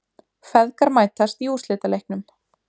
Feðgar mætast í úrslitaleiknum